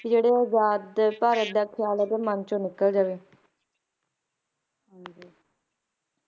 ਕਿ ਜਿਹੜੇ ਆਜ਼ਾਦ ਭਾਰਤ ਦੇ ਖਿਆਲ ਹੈ ਓਹਨਦੇ ਮਨ ਚੋਂ ਨਿਕਲ ਜਾਵੇ